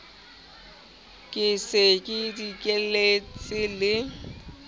ke se ke dikelletse le